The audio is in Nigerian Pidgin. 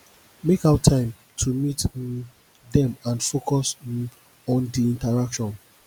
make out time to meet um them and focus um on di interaction